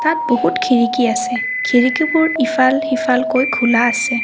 তাত বহুত খিৰিকী আছে খিৰিকীবোৰ ইফাল সিফালকৈ খোলা আছে।